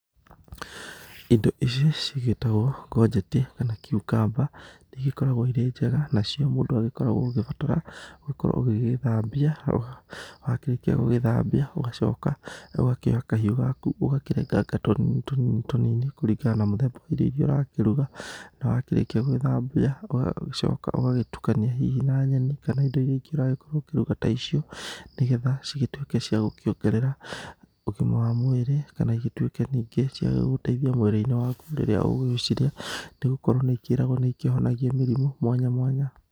Indo ici cigĩtagwo ngonjeti kana kiukamba nĩ igĩkoreagwo irĩ njega, nacio mũndũ agĩkoragwo oũgĩbatara gũkorwo ũgĩgĩthambia. Wa kĩrĩkia gũgĩthambia ũgacoka rĩu ũkoya kahiũ gaku ũgakĩrenganga tũnini tũnini, kũringana na mũthemba wa irio iria ũrakĩruga. Na wakĩrĩkia gũgĩthambia ũgacoka ũgagĩtukania hihi na nyeni kana indo iria ingĩ ũragĩkorwo ũgĩkĩruga ta icio. Nĩ getha cigĩtuĩke ciagũkĩongerera ũgima wa mwĩrĩ, kana igĩtuĩke ninge ciagũgũteithia mwĩrĩ-inĩ waku hĩndĩ ĩrĩa ũgũgĩcirĩa nĩgũkorwo nĩ ikĩragwo nĩ ikĩhonagia mĩrimũ mwanya mwanya.